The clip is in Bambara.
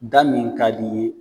Da min ka di'i ye.